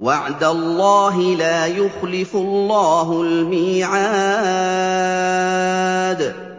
وَعْدَ اللَّهِ ۖ لَا يُخْلِفُ اللَّهُ الْمِيعَادَ